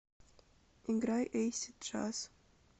играй эйсид джаз